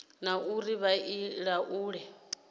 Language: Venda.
na uri vha i laule